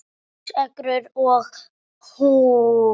Sex ekrur og hús